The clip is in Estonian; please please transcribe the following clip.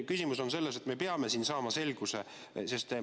Küsimus on selles, et me peame siin saama selguse.